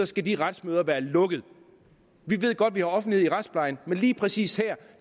skal retsmøderne være lukkede vi ved godt der er offentlighed i retsplejen men lige præcis her